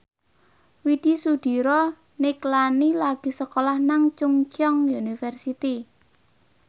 Widy Soediro Nichlany lagi sekolah nang Chungceong University